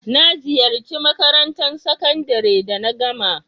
Na ziyace makarantan sakandare da na gama.